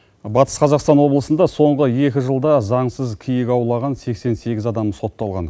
батыс қазақстан облысында соңғы екі жылда заңсыз киік аулаған сексен сегіз адам сотталған